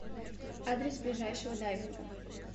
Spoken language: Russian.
адрес ближайшего дайвинга